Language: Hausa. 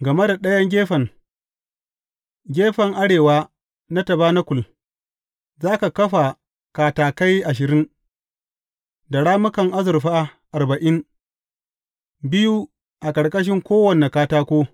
Game da ɗayan gefen, gefen arewa na tabanakul, za ka kafa katakai ashirin, da rammukan azurfa arba’in, biyu a ƙarƙashin kowane katako.